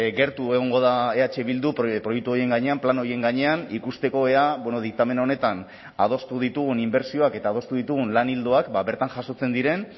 gertu egongo da eh bildu proiektu horien gainean plan horien gainean ikusteko ea diktamen honetan adostu ditugun inbertsioak eta adostu ditugun lan ildoak bertan jasotzen diren